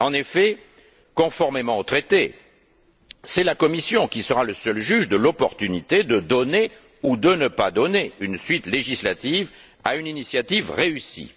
En effet, conformément au traité, c'est la Commission qui sera le seul juge de l'opportunité de donner ou de ne pas donner une suite législative à une initiative réussie.